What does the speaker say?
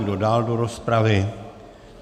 Kdo dál do rozpravy?